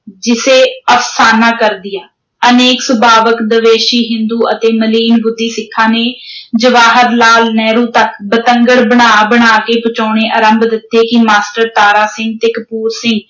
ਜਿਸੇ ਅਫਸਾਨਾ ਕਰ ਦਿਆ, ਅਨੇਕ ਸੁਭਾਵਕ ਦਵੇਸ਼ੀ ਹਿੰਦੂ ਅਤੇ ਮਲੀਨ ਬੁੱਧੀ ਸਿੱਖਾਂ ਨੇ ਜਵਾਹਰ ਲਾਲ ਨਹਿਰੂ ਤੱਕ ਬਤੰਗੜ ਬਣਾ ਬਣਾ ਕੇ ਗਚਾਉਣੇ ਆਰੰਭ ਦਿੱਤੇ ਕਿ ਮਾਸਟਰ ਤਾਰਾ ਸਿੰਘ ਤੇ ਕਪੂਰ ਸਿੰਘ